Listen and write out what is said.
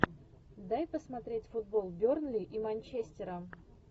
дай посмотреть футбол бернли и манчестера